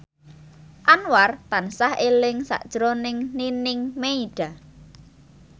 Anwar tansah eling sakjroning Nining Meida